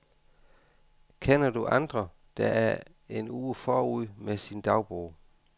Kender du andre, der er en uge forud med sin dagbog.